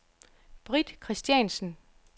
Britt Christiansen